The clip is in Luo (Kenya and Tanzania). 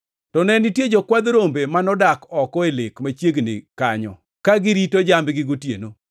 To ne nitie jokwadh rombe manodak oko e lek machiegni kanyo, ka girito jambgi gotieno.